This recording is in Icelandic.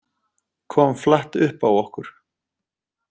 Kom flatt upp á okkur